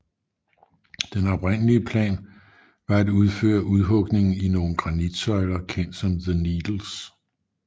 Den oprindelige plan var at udføre udhugningen i nogle granitsøjler kendt som The Needles